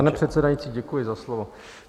Pane předsedající, děkuji za slovo.